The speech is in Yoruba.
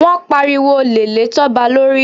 Wọ́n pariwo olè lé Toba lórí.